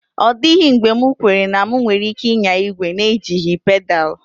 Ọ dịghị mgbe m kweere na m nwere ike ịnya igwe n'ejighị pedal.